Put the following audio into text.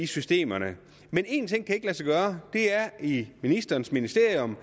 systemer men en ting kan ikke lade sig gøre og det er i ministerens ministerium